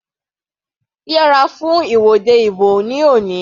Yẹra fún ìwọ́de ìbò ní òní.